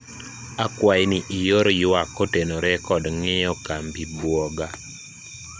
akwayi ni ior ywak kotenore kod ng'iyo kambi buoga